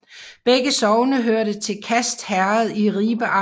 Begge sogne hørte til Skast Herred i Ribe Amt